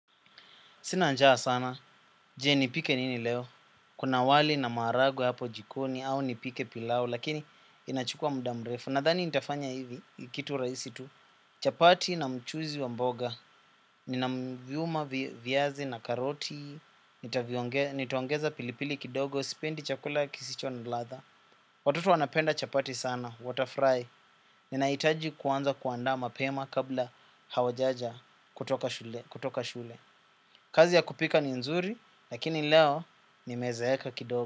Sina njaa sana. Je nipike nini leo? Kuna wali na maragwe hapo jikoni au nipike pilau lakini inachukua muda mrefu. Nadhani nitafanya hivi kitu raisi tu. Chapati na mchuzi wa mboga. Nina mvyuma vyazi na karoti. Nitaqongeza pilipili kidogo. Sipendi chakula kisicho na ladha. Watoto wanapenda chapati sana. Wata furahi. Ninahitaji kuanza kuandaa mapema kabla hawajaja kutoka shule. Kazi ya kupika ni nzuri, lakini leo nimezeeka kidogo.